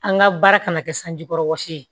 An ka baara kana kɛ sanji kɔrɔ wɔsi ye